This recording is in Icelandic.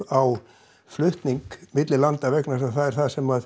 á flutning milli landa vegna þess að það er það sem